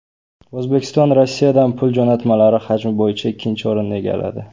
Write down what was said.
O‘zbekiston Rossiyadan pul jo‘natmalari hajmi bo‘yicha ikkinchi o‘rinni egalladi.